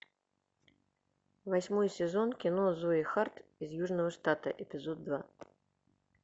восьмой сезон кино зои харт из южного штата эпизод два